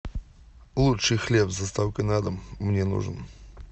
лучший хлеб с доставкой на дом мне нужен